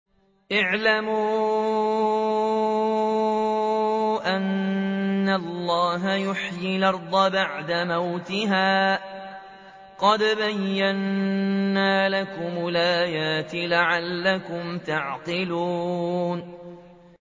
اعْلَمُوا أَنَّ اللَّهَ يُحْيِي الْأَرْضَ بَعْدَ مَوْتِهَا ۚ قَدْ بَيَّنَّا لَكُمُ الْآيَاتِ لَعَلَّكُمْ تَعْقِلُونَ